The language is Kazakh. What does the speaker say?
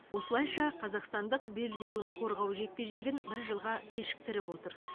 осылайша қазақстандық белбеуін қорғау жекпе жегін бір жылға кешіктіріп отыр